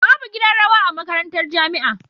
Babu gidan rawa a makarantar jamia